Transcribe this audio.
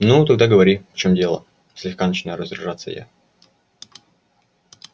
ну тогда говори в чём дело слегка начинаю раздражаться я